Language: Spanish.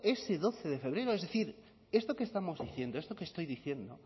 ese doce de febrero es decir esto que estamos diciendo esto que estoy diciendo